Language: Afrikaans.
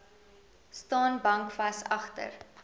staan bankvas agter